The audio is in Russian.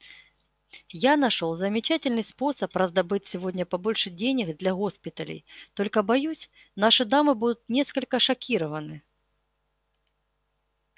я нашёл замечательный способ раздобыть сегодня побольше денег для госпиталей только боюсь наши дамы будут несколько шокированы